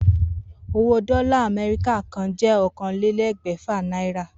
Owó dó̩là Àmé̩ríkà kan jé̩ okòólélé̩gbè̩fà náírà